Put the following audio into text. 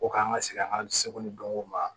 O k'an ka segi an seko ni dɔnko ma